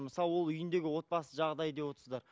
мысалы ол үйіндегі отбасы жағдайы деп отырсыздар